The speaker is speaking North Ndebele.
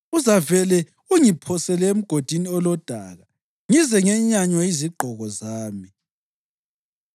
uzavele ungiphosele emgodini olodaka ngize ngenyanywe yizigqoko zami.